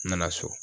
N nana so